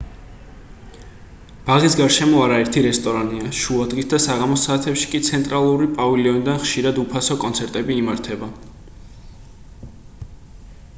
ბაღის გარშემო არაერთი რესტორანია შუადღის და საღამოს საათებში კი ცენტრალური პავილიონიდან ხშირად უფასო კონცერტები იმართება